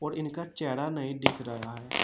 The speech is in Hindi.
और इनका चेहरा नहीं दिख रहा है।